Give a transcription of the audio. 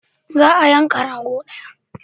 Za a yanka rago daya.